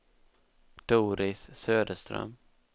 Doris Söderström